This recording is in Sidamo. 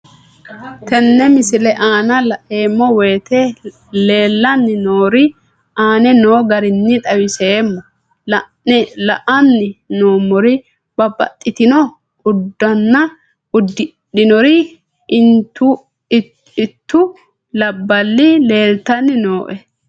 Tenne misile aana laeemmo woyte leelanni noo'ere aane noo garinni xawiseemmo. La'anni noomorri babbaxitinno uddanna uddidhinorri into labballi leelitanni nooe.